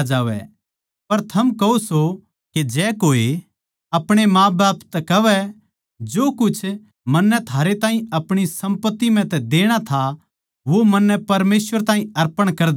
पर थम कहो सो के जै कोए आपणे माँबाप तै कहवै जो कुछ मन्नै थारै ताहीं आपणी सम्पत्ति म्ह तै देणा था वो मन्नै परमेसवर ताहीं अर्पण कर दिया